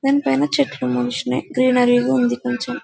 కానీ పైన చెట్లు మనుషులు గ్రీనరీ గా ఉంది కొంచెం --